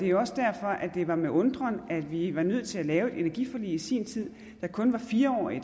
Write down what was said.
jo også derfor at det var med undren at vi var nødt til at lave et energiforlig i sin tid der kun var fire årig